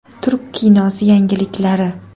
Turk kinosi yangiliklari .